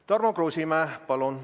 Tarmo Kruusimäe, palun!